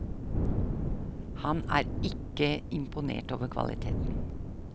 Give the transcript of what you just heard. Han er ikke imponert over kvaliteten.